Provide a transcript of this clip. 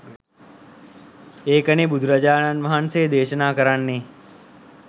ඒකනේ බුදුරජාණන් වහන්සේ දේශනා කරන්නේ